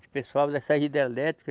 Esse pessoal dessa hidrelétrica,